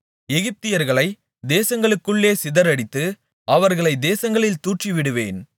எகிப்தியர்களைத் தேசங்களுக்குள்ளே சிதறடித்து அவர்களைத் தேசங்களில் தூற்றிவிடுவேன்